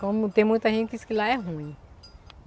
Como tem muita gente que diz que lá é ruim.